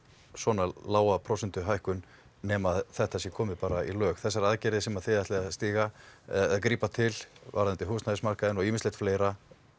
svona lága prósentuhækkun nema þetta sé komið í lög þessar aðgerðir sem þið ætlið að stíga og grípa til varðandi húsnæðismarkaðinn og fleira